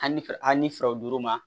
Hali ni fɛrɛ a ni fɛrɛw duuru ma